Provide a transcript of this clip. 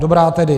Dobrá tedy.